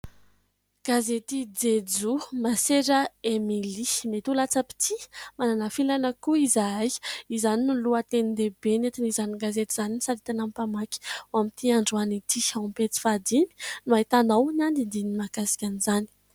Gazety Jejoo, Masera Emelie "Mety ho latsa-pitia, manana filàna ihany koa izahay". Izany no lohatenin-dehibe nentin'izany gazety izany nisaritana ny mpamaky amin'ity androany ity. Ao amin'ny pejy fahadimy no ahitanao ny andinindininy mahakasika an'izany.